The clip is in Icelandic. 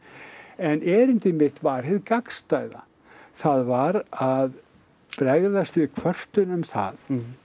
en erindi mitt var hið gagnstæða það var að bregðast við kvörtun um það